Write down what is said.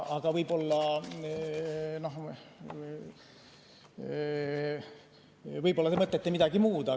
Aga võib-olla te mõtlete midagi muud.